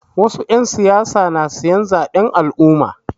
Wasu 'yan siyasa na siyan zaɓen al'umma.